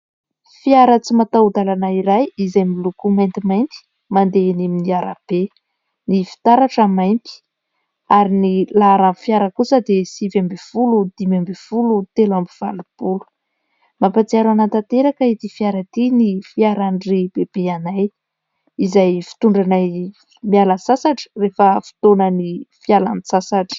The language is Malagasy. Fiara tsy mataho-dalana iray izay miloko maitimainty, mandeha eny amin'ny arabe, ny fitaratra mainty. Ary ny laharan'ny fiara kosa dia sivy ambin'ny folo, dimy ambin'ny folo, telo amby valopolo. Mampahatsiaro ahy tanteraka ity fiara ity ny fiaran-dry bebe anay, izay fitondranay miala sasatra rehefa fotoanan'ny fialan-tsasatra.